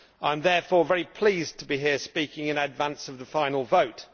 I am therefore very pleased to be here speaking in advance of the final vote.